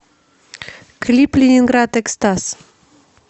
клип ленинград экстаз